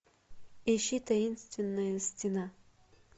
ищи таинственная стена